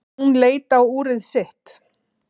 Hún leit á úrið sitt.